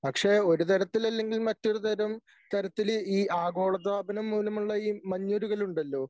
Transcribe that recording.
പക്ഷേ ഒരുതരത്തിലല്ലെങ്കിൽ മറ്റൊരു തരം തരത്തിൽ ഈ ആഗോളതാപനം മൂലമുള്ള ഈ മഞ്ഞുരുകൽ ഉണ്ടല്ലോ